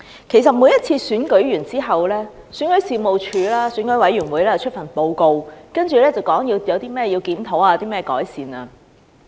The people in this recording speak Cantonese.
其實，在每次選舉完畢後，選舉事務處及選舉委員會都會發出報告，指出有哪些地方需要檢討及改善。